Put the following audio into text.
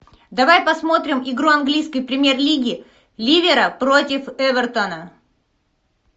давай посмотрим игру английской премьер лиги ливера против эвертона